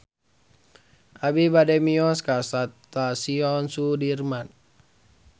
Abi bade mios ka Stasiun Sudirman